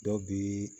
Dɔ bi